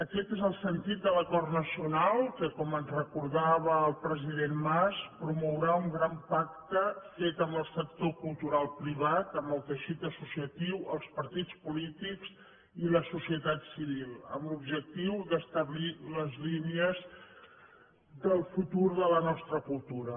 aquest és el sentit de l’acord nacional que com ens recordava el president mas promourà un gran pacte fet amb el sector cultural privat amb el teixit associatiu els partits polítics i la societat civil amb l’objectiu d’establir les línies del futur de la nostra cultura